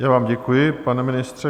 Já vám děkuji, pane ministře.